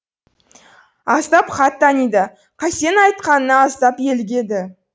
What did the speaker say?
аздап хат таниды қасеннің айтқанына аздап елігеді